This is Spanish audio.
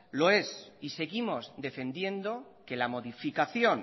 lo es y seguimos defendiendo que la modificación